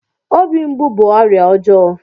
Obi mgbu bú ọrịa ọjọọ